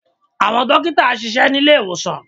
Àwọn dókítà ń ṣiṣẹ́ ní ilé ìwòsàn